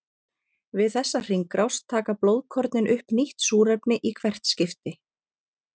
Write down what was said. Við þessa hringrás taka blóðkornin upp nýtt súrefni í hvert skipti.